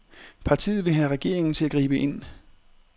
Partiet vil have regeringen til at gribe ind.